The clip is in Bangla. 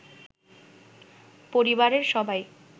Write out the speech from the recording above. পরিবারের সবাই